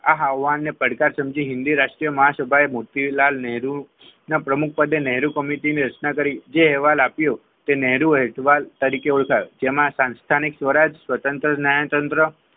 એ આહવાન પડતા સમજી હિન્દી રાષ્ટ્રીય મહાસભ્ય મોતીલાલ નેહરુ ના પ્રમુખ પદે નેહરુ કમિટી ની રચના કરી જે અહેવાલ આપ્યું નેહરુ અહેવાલ તરીકે ઓળખાયું જેમાં સંસ્થાનિક સ્વરાજ સ્વતંત્ર ન્યાયતંત્ર